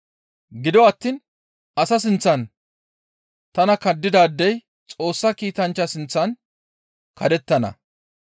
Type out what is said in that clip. Gido attiin asa sinththan tana kaddidaadey Xoossa Kiitanchcha sinththan kaddettana.